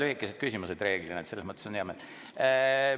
Teil on reeglina muidugi toredad lühikesed küsimused, selle üle on hea meel.